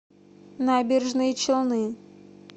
набережные челны